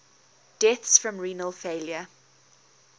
deaths from renal failure